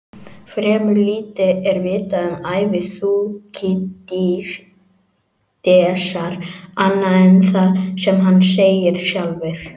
Fremur lítið er vitað um ævi Þúkýdídesar annað en það sem hann segir sjálfur.